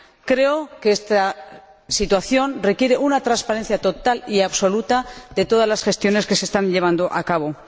Creo que esta situación requiere una transparencia total y absoluta de todas las gestiones que se están llevando a cabo.